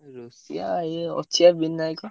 ରୋଷେଇଆ ଇଏ ଅଛି ବା ବିନାୟକ।